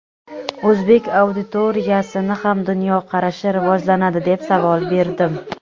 o‘zbek auditoriyasini ham dunyoqarashi rivojlanadi deb savol berdim.